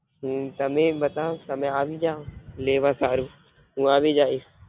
હમ તામે બતોવ તમે અવી જવા લેવા સારુ હુ આવી જૈસ.